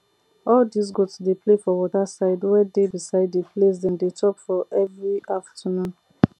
all dis goat dey play for waterside wey dey beside d place dem dey chop for everi afternoon